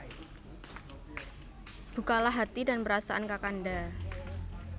Bukalah hati dan perasaan Kakanda